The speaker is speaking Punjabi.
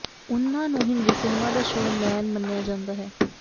ਉਨ੍ਹਾਂ ਨੂੰ ਹਿੰਦੀ ਸਿਨੇਮਾ ਦਾ ਸ਼ੋਅ ਮੈਨ ਮੰਨਿਆ ਜਾਂਦਾ ਹੈ